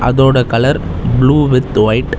அதோட colour blue with white .